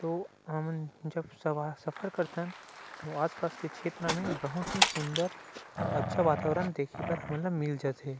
तो हमन जब सब सफर कर थन तो आस-पास के छेत्र मे बहुत ही सुंदर और अच्छा वातावरण देखे बर हमन ल मिल जथे।